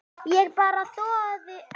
Ég bara þoli það ekki.